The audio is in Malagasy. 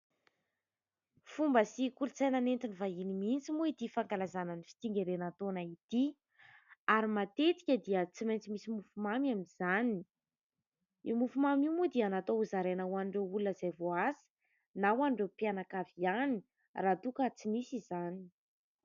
Fomba sy kolon-tsaina nentin'ny vahiny mintsy moa ity fankalazana ny fitsingerenan'ny taona ity. Ary matetika dia tsy maintsy misy mofo mamy amin'izany. Io mofo mamy io moa dia natao hozaraina ho an'ireo olona izay voaasa, na ho an'ireo mpianakavy ihany raha toa ka tsy misy izany.